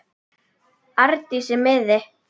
Arndísi miði.